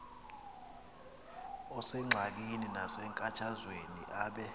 osengxakini nasenkathazweni abe